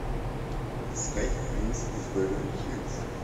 искать принц из беверли хиллз